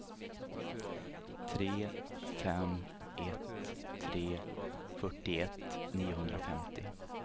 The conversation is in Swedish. tre fem ett tre fyrtioett niohundrafemtio